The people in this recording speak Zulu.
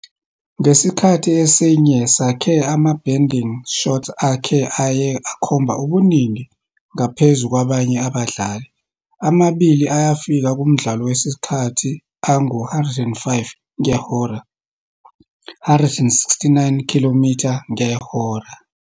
ngesikhathi esinye sakhe, ama-bending shots akhe aye akhomba ubuningi ngaphezu kwabanye abadlali, amabili ayafika kumdlalo wesikhathi angu-105 ngehora, 169 khilomitha ngehora.